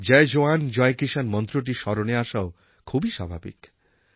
জয় জওয়ান জয় কিষাণ মন্ত্রটি স্মরণে আসাও খুব স্বাভাবিক